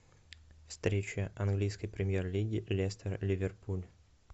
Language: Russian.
встреча английской премьер лиги лестер ливерпуль